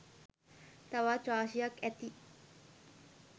තවත් රාශියක් ඇති